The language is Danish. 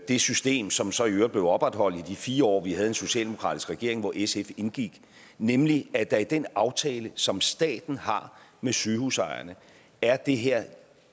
det system som så i øvrigt blev opretholdt i de fire år vi havde en socialdemokratisk ledet regering hvor sf indgik nemlig at der i den aftale som staten har med sygehusejerne er det her